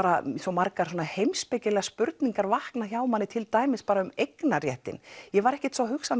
margar heimspekilegar spurningar vakna hjá manni til dæmis um eignarréttinn ég var ekkert að hugsa